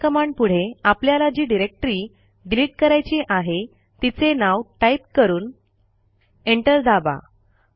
RM कमांडपुढे आपल्याला जी डिरेक्टरी डिलिट करायची आहे तिचे नाव टाईप करून एंटर दाबा